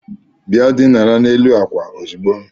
Bịa dinara n'elu n'àkwà ozugbo!